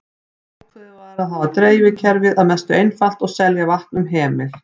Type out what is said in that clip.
Ákveðið var að hafa dreifikerfið að mestu einfalt og selja vatn um hemil.